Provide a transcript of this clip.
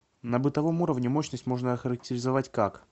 на бытовом уровне мощность можно охарактеризовать как